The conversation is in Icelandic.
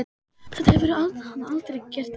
Þetta hefur hann aldrei gert áður.